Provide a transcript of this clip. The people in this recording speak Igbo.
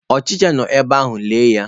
Ọchicha nọ n'ebe ahụ, lelee ya